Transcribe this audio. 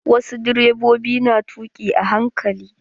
Wasu direbobin na tuƙi a hankali.